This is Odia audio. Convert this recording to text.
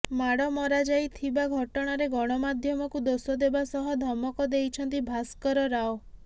ମାଡ଼ ମରାଯାଇଥିବା ଘଟଣାରେ ଗଣମାଧ୍ୟମକୁ ଦୋଷ ଦେବା ସହ ଧମକ ଦେଇଛନ୍ତି ଭାସ୍କର ରାଓ